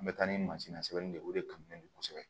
An bɛ taa ni mansin sɛbɛnni de ye o de kanu de kosɛbɛ